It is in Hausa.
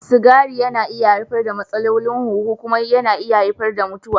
Sigari yana haifar da matsalolin huhu kuma yana iya haifar da mutuwa.